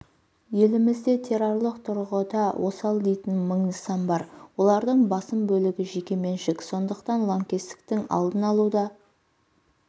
елімізде террорлық тұрғыда осал дейтін мың нысан бар олардың басым бөлігі жекеменшік сондықтан лаңкестіктің алдын алуда